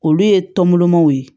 Olu ye tɔnbɔlɔmaw ye